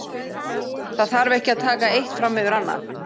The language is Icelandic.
Það þarf ekki að taka eitt fram yfir annað.